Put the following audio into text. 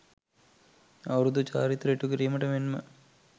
අවුරුදු චාරිත්‍ර ඉටු කිරීමට මෙන්ම